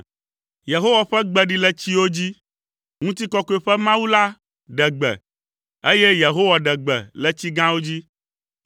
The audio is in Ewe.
Yehowa ƒe gbe ɖi le tsiwo dzi; Ŋutikɔkɔe ƒe Mawu la ɖe gbe, eye Yehowa ɖe gbe le tsi gãwo dzi.